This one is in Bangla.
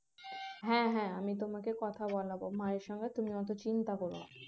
হ্যাঁ হ্যাঁ আমি তোমাকে কথা বলাব মায়ের সঙ্গে তুমি অত চিন্তা কর না